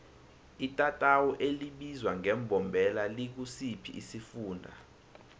itatawu elibizwa ngembombela likusiphi isifunda